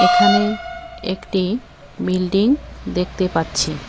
এখানে একটি বিল্ডিং দেখতে পাচ্ছি।